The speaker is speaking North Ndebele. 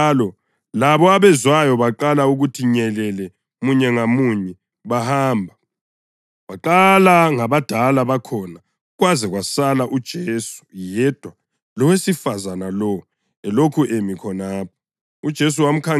Esetshonjalo labo abezwayo baqala ukuthi nyelele munye ngamunye bahamba, kwaqala ngabadala bakhona, kwaze kwasala uJesu yedwa lowesifazane lowo elokhu emi khonapho.